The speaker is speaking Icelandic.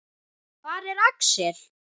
Hvar er Axel?